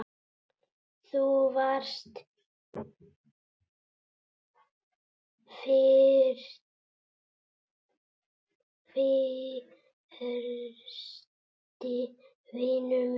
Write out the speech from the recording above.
Þú varst fyrsti vinur minn.